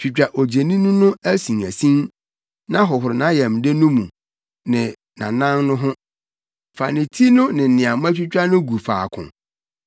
Twitwa odwennini no asinasin na hohoro nʼayamde no mu ne nʼanan no ho; fa ne ti no ne nea moatwitwa no gu faako